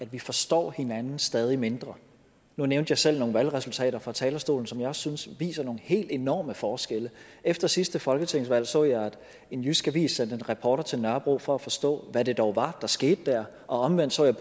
vi forstår hinanden stadig mindre nu nævnte jeg selv nogle valgresultater fra talerstolen som jeg også synes viser nogle helt enorme forskelle efter sidste folketingsvalg så jeg at en jysk avis sendte en reporter til nørrebro for at forstå hvad det dog var der skete der og omvendt så jeg